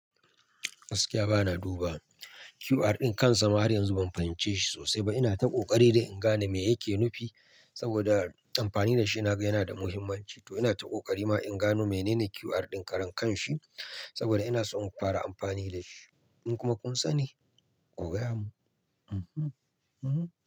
Gaskiya bana duba QR ɗin kan sa, har yanzu ban fahimci shi sosai ba. Ina ta ƙoƙari dai in gano me yake nufi saboda amfani da shi na ga yana da muhimmanci. To ina ta ƙoƙari ma in gano menene QR ɗin karan kan shi saboda ina so in fara amfani da shi. In kuma kun sani, ku gaya mun.